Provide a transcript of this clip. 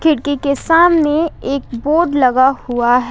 खिड़की के सामने एक बोर्ड लगा हुआ है।